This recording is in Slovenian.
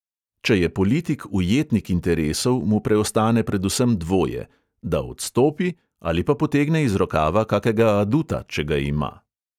Če je politik ujetnik interesov, mu preostane predvsem dvoje: da odstopi ali pa potegne iz rokava kakega aduta, če ga ima.